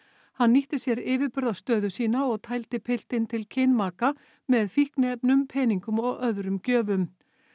hann nýtti sér yfirburðastöðu sína og tældi piltinn til kynmaka með fíkniefnum peningum og öðrum gjöfum